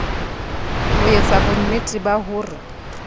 ho etsa bonnete ba hore